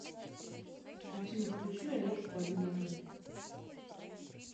афина включи алешку один один